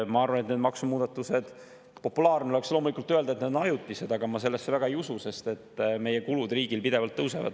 Ma arvan, et populaarne oleks loomulikult öelda, et need maksumuudatused on ajutised, aga ma sellesse väga ei usu, sest meie riigi kulud pidevalt tõusevad.